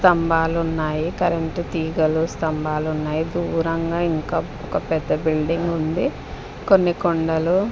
స్తంభాలు ఉన్నాయి కరెంట్ తీగలు స్తంభాలు ఉన్నాయి దూరంగా ఇంకా ఒక పెద్ద బిల్డింగ్ ఉంది కొన్ని కొండలు --